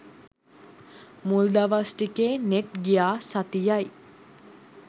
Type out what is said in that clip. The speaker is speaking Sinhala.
මුල් දවස් ටිකේ නෙට් ගියා සතියයි